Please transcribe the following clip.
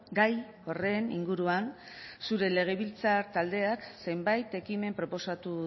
gai horren inguruan zure legebiltzar taldeak zenbait ekimen proposatu